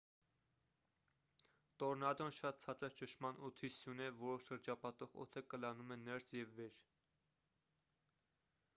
տորնադոն շատ ցածր ճնշման օդի սյուն է որը շրջապատող օդը կլանում է ներս և վեր